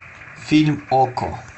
фильм окко